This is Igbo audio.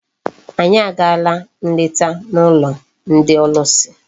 Anyị agaala nleta n'ụlọ ndị ọlụsị.